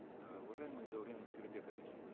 э уважаемый даурен аскербекович